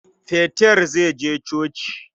Peter zai je coci.